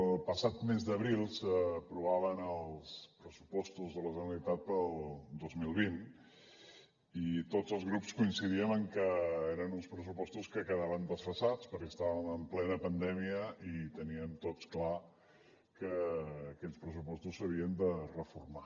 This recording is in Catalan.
el passat mes d’abril s’aprovaven els pressupostos de la generalitat per al dos mil vint i tots els grups coincidíem en que eren uns pressupostos que quedaven desfasats perquè estàvem en plena pandèmia i teníem tots clar que aquells pressupostos s’havien de reformar